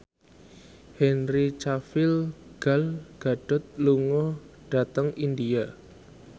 Henry Cavill Gal Gadot lunga dhateng India